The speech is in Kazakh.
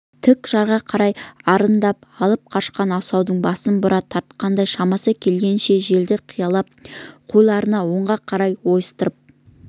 тік жарға қарай арындап алып қашқан асаудың басын бұра тартқандай шамасы келгенше желді қиялап қойларын оңға қарай ойыстырып